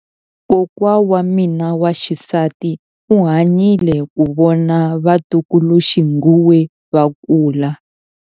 Kokwa wa mina wa xisati u hanyile ku vona vatukuluxinghuwe va kula.